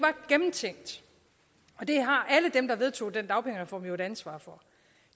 gennemtænkt det har alle dem der vedtog den dagpengereform jo et ansvar for